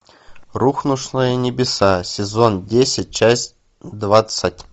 рухнувшие небеса сезон десять часть двадцать